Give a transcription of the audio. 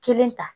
Kelen ta